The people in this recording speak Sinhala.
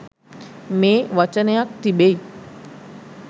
මේ වචනයක් තිබෙයි.